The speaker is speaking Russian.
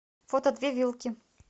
фото две вилки